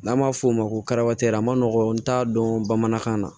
N'an b'a f'o ma ko arabara ma nɔgɔn n t'a dɔn bamanankan na